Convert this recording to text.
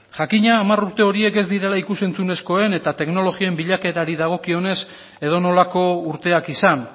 jakina hamar urte horiek ez direla ikus entzunezkoen eta teknologien bilakaerari dagokionez edonolako urteak izan